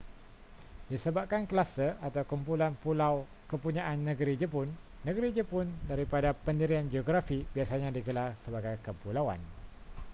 disebabkan kluster/kumpulan pulau kepunyaan negeri jepun negeri jepun daripada pendirian geografi biasanya digelar sebagai kepulauan